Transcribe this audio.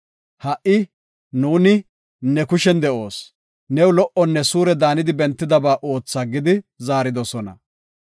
Ha77i nu ne kushen de7oos. New lo77onne suure daanidi bentidaba ootha” gidi zaaridosona.